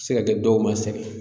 Se ka kɛ dɔw ma sɛgɛn